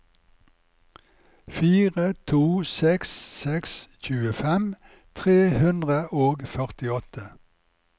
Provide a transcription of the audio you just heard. fire to seks seks tjuefem tre hundre og førtiåtte